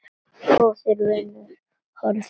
Góður vinur horfinn á braut.